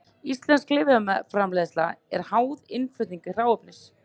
Íslensk lyfjaframleiðsla er háð innflutningi hráefnis.